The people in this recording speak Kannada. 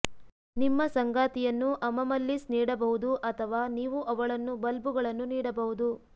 ನಿಮ್ಮ ಸಂಗಾತಿಯನ್ನು ಅಮಮಲ್ಲಿಸ್ ನೀಡಬಹುದು ಅಥವಾ ನೀವು ಅವಳನ್ನು ಬಲ್ಬುಗಳನ್ನು ನೀಡಬಹುದು